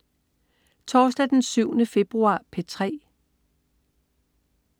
Torsdag den 7. februar - P3: